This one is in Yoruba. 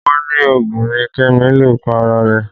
Wọ́n ní òògùn ni Kẹ́mi lò para rẹ̀